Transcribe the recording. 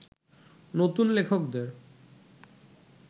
নতুন লেখকদের